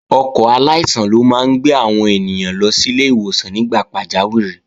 Ọkọ̀ aláìsàn ló máa ń gbé àwọn èèyàn lọ sílé ìwòsàn nígbà pàjáwìrì